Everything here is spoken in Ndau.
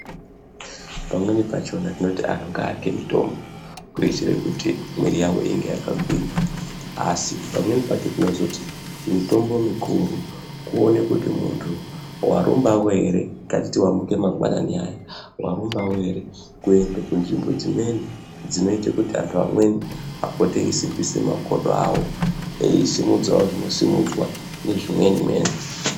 Pamweni pachona tinoti antu ngaarye mitombo kuitire kuti mwiri yawo ine yakagwinya, asi pamweni pacho timozoti mitombo mikuru kuone kuti muntu warumawo ere ngatiti wamuke mangwanani aya warumbawo ere kuende kunzvimbo dzimweni dzinoite kuti antu amweni apote eisimbise makodo awo eisumudzawo zvinosimudzwa nezvimweni mweni.